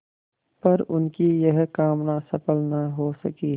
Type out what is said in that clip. पर उनकी यह कामना सफल न हो सकी